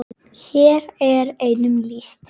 Hér er einum lýst.